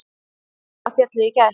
Hundrað féllu í gær.